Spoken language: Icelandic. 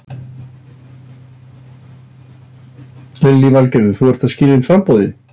Lillý Valgerður: Þú ert að skila inn framboði?